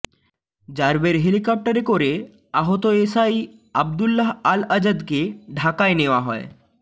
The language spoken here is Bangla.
র্যাবের হেলিকপ্টারে করে আহত এসআই আবদুল্লাহ আল আজাদকে ঢাকায় নেয়া হয়